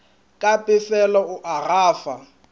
ka pefelo o a gafa